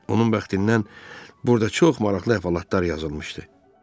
Onun bəxtindən burda çox maraqlı əhvalatlar yazılmışdı.